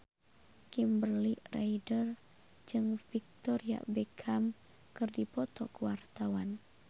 Kimberly Ryder jeung Victoria Beckham keur dipoto ku wartawan